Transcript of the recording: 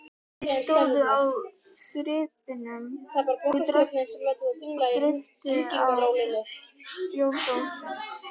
Þeir stóðu í þyrpingum og dreyptu á bjórdósum.